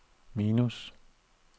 minus